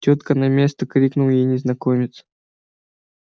тётка на место крикнул ей незнакомец